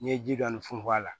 N'i ye ji dɔɔni funfun a la